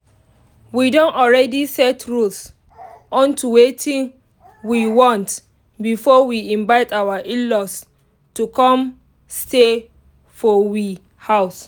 we don already set rules unto wetin we want before we invite our in-law to come stay for we house